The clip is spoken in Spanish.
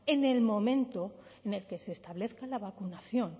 en el momento en el que se establezca la vacunación